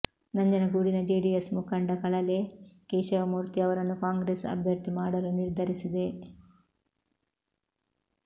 ನಂಜನಗೂಡಿನ ಜೆಡಿಎಸ್ ಮುಖಂಡ ಕಳಲೆ ಕೇಶವಮೂರ್ತಿ ಅವರನ್ನು ಕಾಂಗ್ರೆಸ್ ಅಭ್ಯರ್ಥಿ ಮಾಡಲು ನಿರ್ಧರಿಸಿದೆ